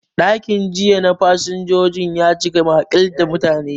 Ɗakin jira na fasinjojin ya cika maƙil da mutane.